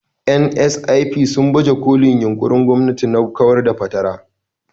(NSIP) sun baje kolin yunƙurin gwamnati na kawar da fatara.